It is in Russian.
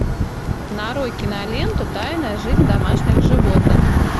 нарой киноленту тайная жизнь домашних животных